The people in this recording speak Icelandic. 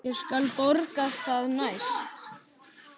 Ég skal borga það næst.